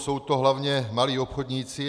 Jsou to hlavně malí obchodníci.